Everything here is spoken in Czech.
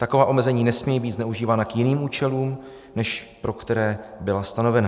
Taková omezení nesmějí být zneužívána k jiným účelům, než pro které byla stanovena.